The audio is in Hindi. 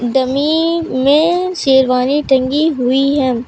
डमी में शेरवानी टंगी हुई है।